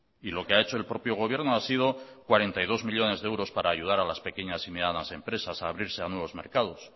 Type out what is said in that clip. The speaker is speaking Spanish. lo que ha hecho el propio gobierno ha sido cuarenta y dos millónes de euros para ayudar a las medianas y pequeñas empresas a abrirse a nuevos mercados